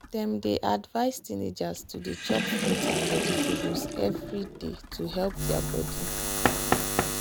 dem dey advise teenagers to dey chop fruit and vegetables every day to help their body.